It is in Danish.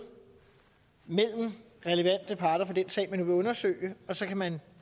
mellem relevante parter i den sag man nu vil undersøge og så kan man